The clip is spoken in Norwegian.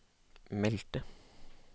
meldte